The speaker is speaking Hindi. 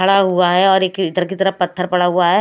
खड़ा हुवा हैं और एक की तरह पत्थर पड़ा हुवा हैं।